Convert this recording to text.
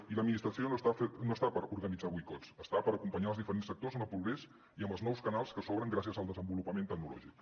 i l’administració no hi és per organitzar boicots hi és per acompanyar els diferents sectors en el progrés i amb els nous canals que s’obren gràcies al desenvolupament tecnològic